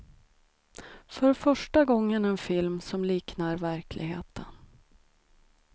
För första gången en film som liknar verkligheten.